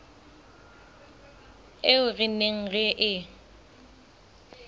eo re neng re e